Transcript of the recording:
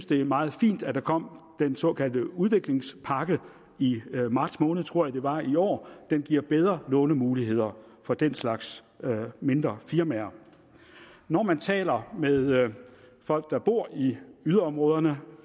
det er meget fint at der kom den såkaldte udviklingspakke i marts måned tror jeg det var i år den giver bedre lånemuligheder for den slags mindre firmaer når man taler med folk der bor i yderområderne